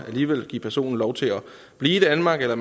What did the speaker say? give personen lov til at blive i danmark eller